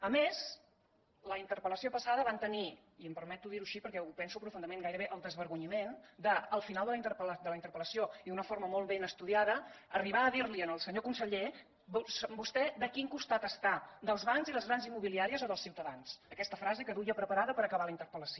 a més a la interpel·lació passada van tenir i em permeto dir ho així perquè ho penso profundament gairebé el desvergonyiment de al final de la interpel·lació i d’una forma molt ben estudiada arribar a dir li al senyor conseller vostè de quin costat està dels bancs i les grans immobiliàries o dels ciutadans aquesta frase que duia preparada per acabar la interpel·lació